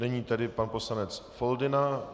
Nyní tedy pan poslanec Foldyna.